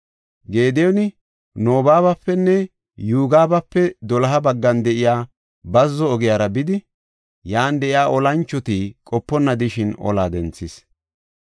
Gediyooni Noobapenne Yogibape doloha baggan de7iya bazzo ogiyara bidi, yan de7iya olanchoti qoponna de7ishin ola denthis.